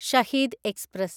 Shaheed express